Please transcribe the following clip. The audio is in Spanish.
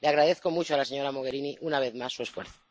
Le agradezco mucho a la señora Mogherini, una vez más, su esfuerzo.